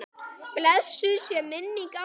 Blessuð sé minning Árna.